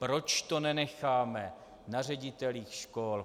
Proč to nenecháme na ředitelích škol?